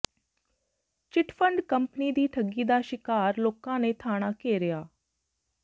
chit fund company ਦੀ ਠੱਗੀ ਦਾ ਸ਼ਿਕਾਰ ਲੋਕਾਂ ਨੇ ਥਾਣਾ ਘੇਰਿਆ